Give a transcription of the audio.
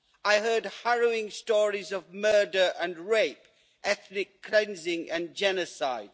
I heard harrowing stories of murder and rape, ethnic cleansing and genocide.